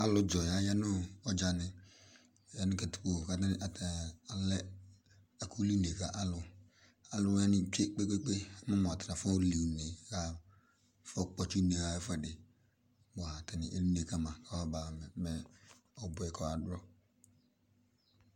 Alʋdzɔya ya nʋ ɔdzani, aya nʋ katikpo kʋ atani alɛ ɛkʋli une ka alʋ Alʋ wani tse kpekpeekpe mʋ sa atani afɔli une kalʋ kafɔ kpɔtsi une yɔɣa ɛfuɛdi, boa eli une kama kʋ ɔbuɛ kɔba dʋ